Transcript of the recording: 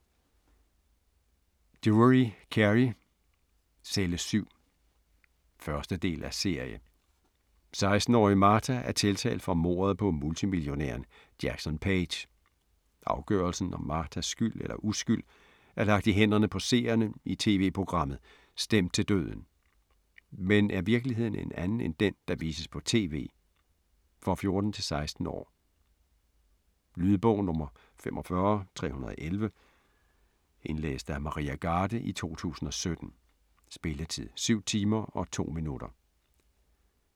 Drewery, Kerry: Celle 7 1. del af serie. 16-årige Martha er tiltalt for mordet på multimillionæren Jackson Paige. Afgørelsen om Marthas skyld eller uskyld er lagt i hænderne på seerne i tv-programmet "Stemt til døden". Men er virkeligheden en anden end den, der vises på tv? For 14-16 år. Lydbog 45311 Indlæst af Maria Garde, 2017. Spilletid: 7 timer, 2 minutter.